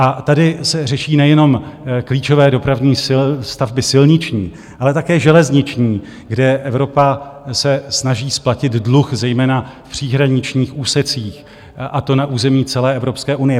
A tady se řeší nejenom klíčové dopravní stavby silniční, ale také železniční, kde Evropa se snaží splatit dluh zejména v příhraničních úsecích, a to na území celé Evropské unie.